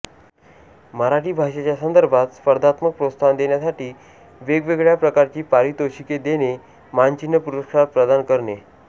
मराठी भाषेच्या संदर्भात स्पर्धात्मक प्रोत्साहन देण्यासाठी वेगवेगळ्या प्रकारची पारितोषिके देणे मानचिन्ह पुरस्कार प्रदान करणे